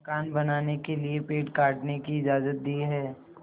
मकान बनाने के लिए पेड़ काटने की इजाज़त दी है